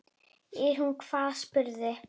Er hún hvað, spurði